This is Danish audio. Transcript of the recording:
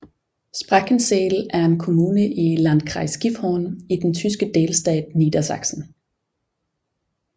Sprakensehl er en kommune i Landkreis Gifhorn i den tyske delstat Niedersachsen